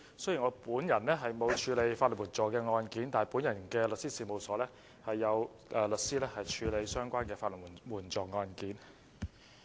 雖然我本人沒有處理過法律援助案件，但在我的律師事務所中，有律師處理法援案件。